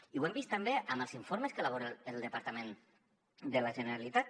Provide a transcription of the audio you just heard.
i ho hem vist també amb els informes que elabora el departament de la generalitat